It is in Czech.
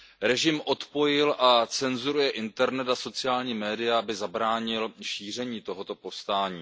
Režim odpojil a cenzuruje internet a sociální média, aby zabránil šíření tohoto povstání.